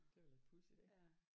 Det var lidt pudsigt ik